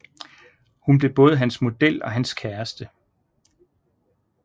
Hun blev både hans model og hans kæreste